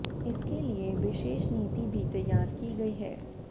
इसके लिए विशेष नीति भी तैयार की गई है